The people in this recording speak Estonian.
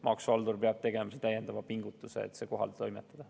Maksuhaldur peab tegelema täiendava pingutuse, et see kohale toimetada.